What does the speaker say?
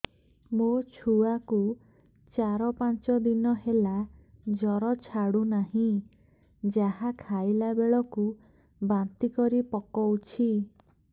ମୋ ଛୁଆ କୁ ଚାର ପାଞ୍ଚ ଦିନ ହେଲା ଜର ଛାଡୁ ନାହିଁ ଯାହା ଖାଇଲା ବେଳକୁ ବାନ୍ତି କରି ପକଉଛି